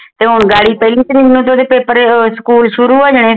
ਤੇ ਹੁਣ ਬਾਈ ਤਰੀਕ ਨੂੰ ਤੇ ਓਹਦੇ ਪੇਪਰ ਉਹ ਸਕੂਲ ਸ਼ੁਰੂ ਹੋ ਜਾਣੇ